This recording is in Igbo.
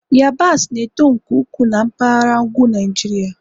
yabasị na-eto nke ukwuu na mpaghara ugwu Niajiria